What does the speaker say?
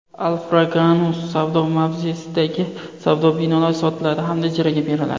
Alfraganus savdo mavzesidagi savdo binolari sotiladi hamda ijaraga beriladi.